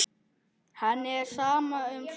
Henni er sama um sögur.